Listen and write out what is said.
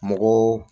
Mɔgɔw